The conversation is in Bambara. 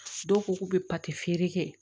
Dɔw ko k'u bɛ pati feere kɛ